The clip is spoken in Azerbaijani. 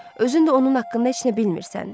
Özün də onun haqqında heç nə bilmirsən.